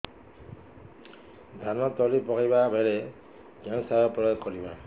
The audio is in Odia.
ଧାନ ତଳି ପକାଇବା ବେଳେ କେଉଁ ସାର ପ୍ରୟୋଗ କରିବା